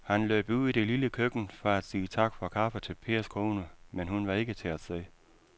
Han løb ud i det lille køkken for at sige tak for kaffe til Pers kone, men hun var ikke til at se.